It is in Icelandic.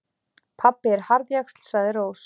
Pabbi er harðjaxl, sagði Rós.